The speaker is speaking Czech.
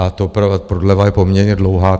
A ta prodleva je poměrně dlouhá.